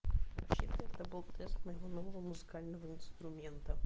это был тест нового музыкального инструмента